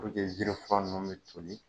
Puruke jiri fura ninnu bɛ toli